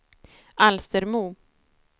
Alstermo